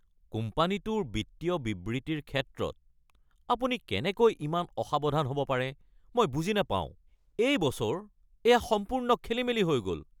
কোম্পানীটোৰ বিত্তীয় বিবৃতিৰ ক্ষেত্ৰত আপুনি কেনেকৈ ইমান অসাৱধান হ'ব পাৰে মই বুজি নাপাওঁ। এই বছৰ এয়া সম্পূৰ্ণ খেলিমেলি হৈ গ'ল।